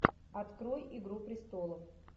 открой игру престолов